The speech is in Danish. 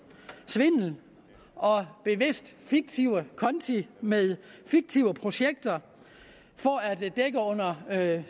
svindel og bevidst fiktive konti med fiktive projekter for at